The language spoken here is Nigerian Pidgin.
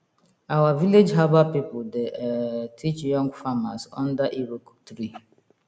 our village herbal people dey um teach young farmers under iroko tree